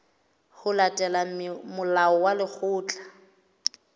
ho latela molao wa lekgetho